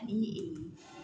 Ani